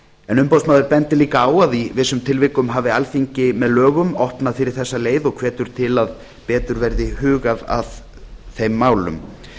en umboðsmaður bendir líka á að í vissum tilvikum hafi alþingi með lögum opnað fyrir þessa leið og hvetur til að betur verði hugað að þeim málum